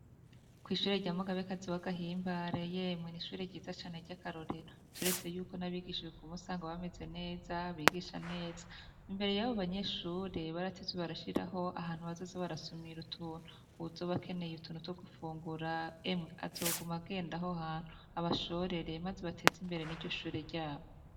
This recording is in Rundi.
kw'ishure rya mugabekazi wa gahimbare, yemwe n' ishure ryiza cane rya karorero turetse yuko n'abigisha usanga bameze neza, bigisha neza imbere y'abo banyeshure barateze barashiraho ahantu bazoze barasumira utuntu uwuzoba akeneye utuntu two gufungura, emwe azoguma agendayo aho ahantu abashorere maze bateze imbere n'iryo shure ryabo.